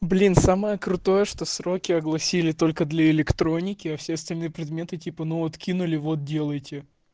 блин самое крутое что сроки огласили только для электроники а все остальные предметы типа ну вот кинули вот делаете